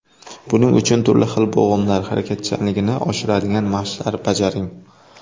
Buning uchun turli xil bo‘g‘imlar harakatchanligini oshiradigan mashqlar bajaring.